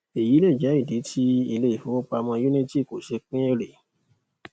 eyi lè jẹ ìdí tí ilé ifówopàmọ unity kò ṣe pín ère